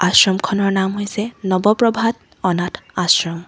আশ্ৰমখনৰ নাম হৈছে নৱ প্ৰভাত অনাথ আশ্ৰম।